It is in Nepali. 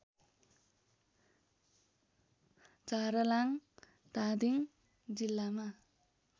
झारलाङ धादिङ जिल्लामा